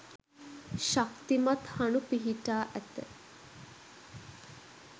ශක්තිමත් හණු පිහිටා ඇත.